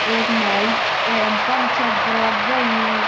एक महल ए पांच छह दरवाजा ही।